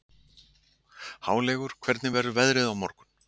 Háleygur, hvernig verður veðrið á morgun?